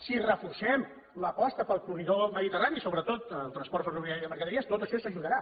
si reforcem l’aposta pel corredor del mediterrani sobretot el transport ferroviari de mercaderies tot això ajudarà